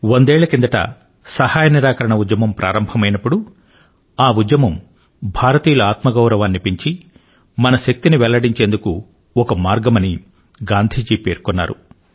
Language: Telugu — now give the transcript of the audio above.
వందేళ్ల కిందట సహాయ నిరాకరణ ఉద్యమం ప్రారంభమైనప్పుడు ఆ ఉద్యమం భారతీయుల ఆత్మగౌరవాన్ని పెంచి మన శక్తిని వెల్లడించేందుకు ఒక మార్గమని గాంధీ జీ పేర్కొన్నారు